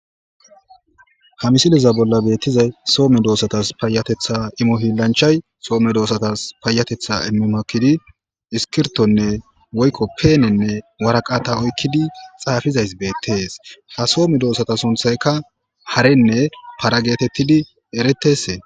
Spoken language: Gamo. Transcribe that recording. ha misiliza bolla beettizay soome doossatas payatetha imohilanchay soome doosatas paayatetha immimakidi iskirtonne woykko peenenne waraqata oykkidi xaafizays beettees ha soome doossata sunthaykka harenne parageetettidi eretese